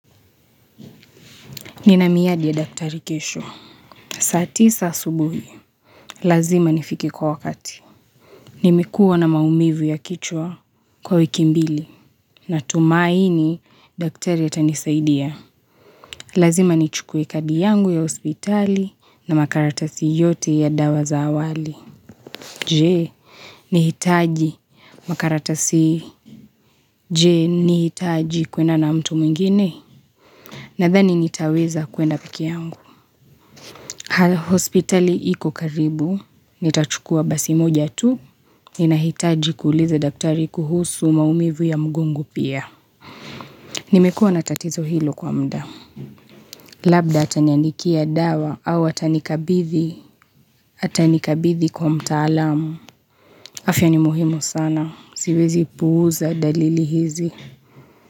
Nina miyadi ya daktari kesho. Saa tisa subuhi, lazima nifike kwa wakati. Nimekuwa na maumivu ya kichwa kwa wiki mbili. Natumaini, daktari ya atanisaidia. Lazima nichukue kadi yangu ya hospitali na makaratasi yote ya dawa za awali. Je, ni hitaji? Makaratasi je, ni hitaji kuenda na mtu mwingine? Nadhani nitaweza kuenda pekee yangu. Hala hospitali iko karibu. Nitachukua basi moja tu, ninahitaji kuuliza daktari kuhusu maumivu ya mgongo pia. Nimekuwa na tatizo hilo kwa muda. Labda ataniandikia dawa au atanikabidhi, atanikabithi kwa mtaalamu. Afya ni muhimu sana, siwezi puuza dalili hizi.